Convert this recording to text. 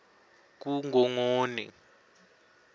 kungongoni